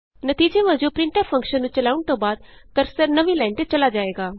ਨਤੀਜੇ ਵਜੋਂ printf function ਨੂੰ ਚਲਾਉਣ ਤੋਂ ਬਾਅਦ ਕਰਸਰ ਨਵੀਂ ਲਾਈਨ ਤੇ ਚਲਾ ਜਾਏਗਾ